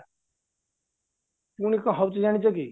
ପୁଣି କ'ଣ ହଉଛି ଜାଣିଛକି